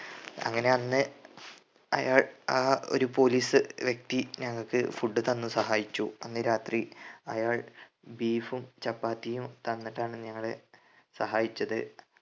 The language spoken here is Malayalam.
അങ്ങനെ അന്ന് അയാൾ ആ ഒരു പോലീസ് വ്യക്തി ഞങ്ങക്ക് food തന്ന് സഹായിച്ചു അന്ന് രാത്രി അയാൾ beef ഉം ചപ്പാത്തിയും തന്നിട്ടാണ് ഞങ്ങളെ സഹായിച്ചത്